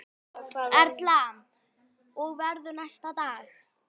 Erla: Og verður næstu daga?